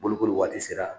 Bolokoli waati sera